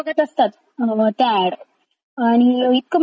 आणि इतकं म्हणजे सगळं दिवसभराचं सारासार सांगतात हे…